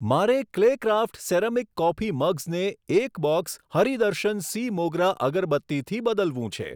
મારે Claycraft ceramic coffee મગ્સને એક બોક્સ હરિ દર્શન સી મોગરા અગરબત્તીથી બદલવું છે.